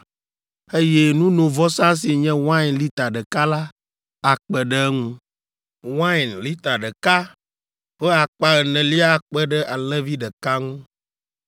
eye nunovɔsa si nye wain lita ɖeka la akpe ɖe eŋu. Wain hin ɖeka ƒe akpa enelia akpe ɖe alẽvi ɖeka ŋu.